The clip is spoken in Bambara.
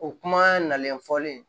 O kuma nalen fɔlen